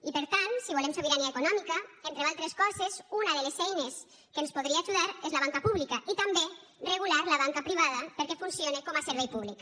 i per tant si volem sobirania econòmica entre d’altres coses una de les eines que ens podria ajudar és la banca pública i també regular la banca privada perquè funcione com a servei públic